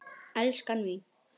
Elskan mín.